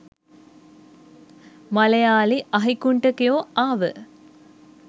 මලයාලි අහිගුන්ඨිකයෝ ආව